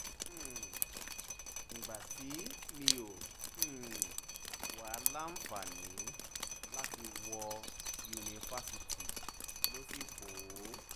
um ìgbà tí mi ò um wáá láǹfààní láti wọ yunifásitìmọ̀ ló sì pọ̀